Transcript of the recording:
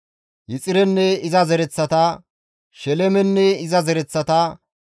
Yexirenne iza zereththata, Shelemenne iza zereththata,